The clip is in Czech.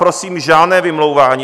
Prosím, žádné vymlouvání.